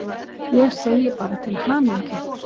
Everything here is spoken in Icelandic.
Ég segi bara til hamingju!